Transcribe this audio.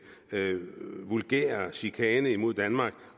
vulgære chikane mod danmark